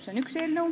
See on üks eelnõu.